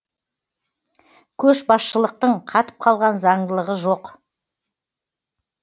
көшбасшылықтың қатып қалған заңдылығы жоқ